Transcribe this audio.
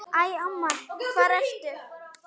Æ, amma, hvar ertu?